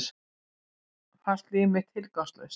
Fannst líf mitt tilgangslaust.